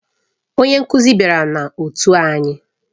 Onye nkuzi bịara na otu anyị.